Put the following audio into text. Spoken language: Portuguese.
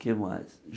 O que mais?